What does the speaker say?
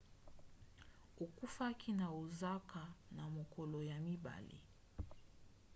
akufaki na osaka na mokolo ya mibale